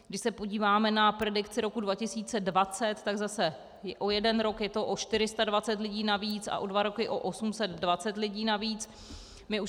Když se podíváme na predikci roku 2020, tak zase o jeden rok je to o 420 lidí navíc a o dva roky o 820 lidí navíc.